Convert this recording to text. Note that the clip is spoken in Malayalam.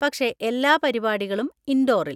പക്ഷെ എല്ലാ പരിപാടികളും ഇൻഡോറിൽ.